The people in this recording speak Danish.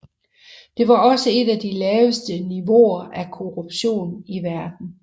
Det har også et af de laveste niveauer af korruption i verden